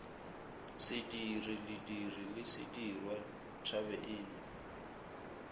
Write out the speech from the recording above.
sediri lediri le sedirwa thabeina